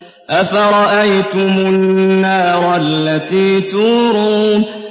أَفَرَأَيْتُمُ النَّارَ الَّتِي تُورُونَ